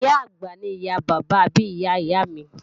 Ìyá-àgbà ni ìyá bàbá àbí ìyá ìyá mi